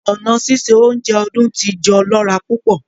Ọ̀na sísẹ ọ̀unjẹ Ọ̀dún-tí-jọ̀ lọ̀ra púpọ̀